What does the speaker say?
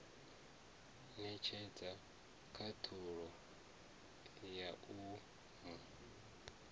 netshedza khathulo ya u mu